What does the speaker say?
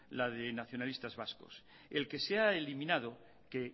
la de nacionalistas vascos el que se ha eliminado que